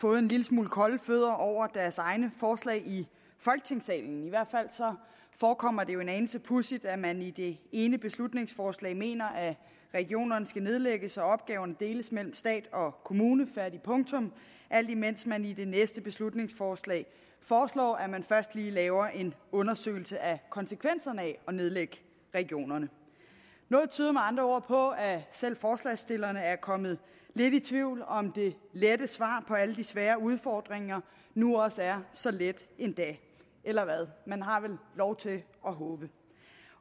fået en lille smule kolde fødder over deres egne forslag i folketingssalen i hvert fald forekommer det jo en anelse pudsigt at man i det ene beslutningsforslag mener at regionerne skal nedlægges og opgaverne deles mellem stat og kommuner færdig punktum alt imens man i det næste beslutningsforslag foreslår at man først lige laver en undersøgelse af konsekvenserne af at nedlægge regionerne noget tyder med andre ord på at selv forslagsstillerne er kommet lidt i tvivl om om det lette svar på alle de svære udfordringer nu også er så let endda eller hvad man har vel lov til at håbe